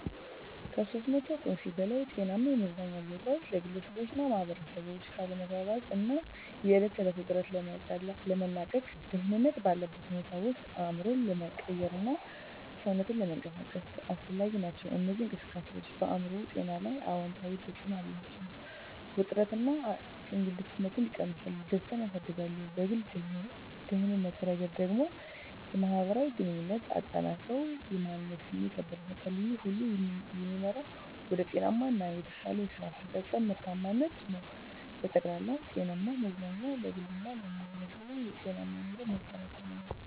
(ከ300 ቁምፊ በላይ) ጤናማ የመዝናኛ ቦታዎች ለግለሰቦችና ማኅበረሰቦች ከአለመግባባት እና የዕለት ተዕለት ውጥረት ለመላቀቅ፣ ደህንነት ባለበት ሁኔታ ውስጥ አእምሮን ለመቀየርና ሰውነትን ለመንቀሳቀስ አስፈላጊ ናቸው። እነዚህ እንቅስቃሴዎች በአእምሮ ጤና ላይ አዎንታዊ ተጽዕኖ አላቸው፤ ውጥረትን እና እከግንነትን ይቀንሳሉ፣ ደስታን ያሳድጋሉ። በግል ደህንነት ረገድ ደግሞ፣ የማህበራዊ ግንኙነትን አጠናክረው የማንነት ስሜትን ያበረታታሉ። ይህ ሁሉ የሚመራው ወደ ጤናማ እና የተሻለ የስራ አፈጻጸም (ምርታማነት) ነው። በጠቅላላው፣ ጤናማ መዝናኛ ለግሉ እና ለማህበረሰቡ የጤናማ ኑሮ መሠረት ነው።